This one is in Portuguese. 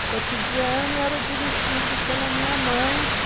O cotidiano era dirigido pela minha mãe, que...